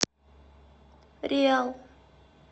риал